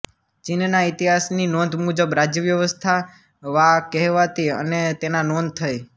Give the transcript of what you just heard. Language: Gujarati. ચીનના ઇતિહાસની નોંધ મુજબ રાજ્યવ્યવસ્થા વા કહેવાતી અને તેના નોંધ થઈ